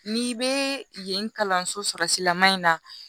N'i bɛ yen kalanso sɔrɔsilama in na